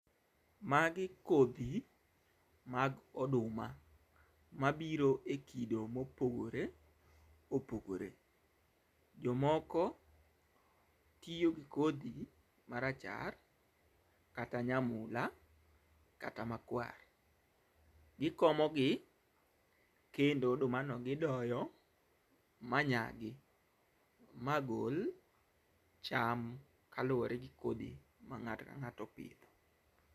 Magi kodhi mag oduma mabiro e kido mopogore opogore. Jomoko tiyo gi kodhi marachar kata nyamula kata makwar. Gikomo gi kendo odumano gidoyo ma nyagi ma gol cham kaluwore gi kodhi ma ng'ato ka ng'ato opidho.